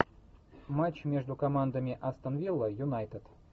матч между командами астон вилла юнайтед